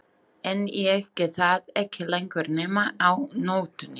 En ég get það ekki lengur nema á nóttunni.